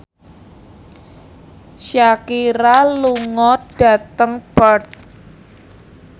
Shakira lunga dhateng Perth